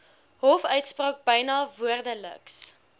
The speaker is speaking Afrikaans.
hofuitspraak byna woordeliks